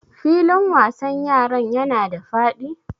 Filin wasan yaran yana da faɗi?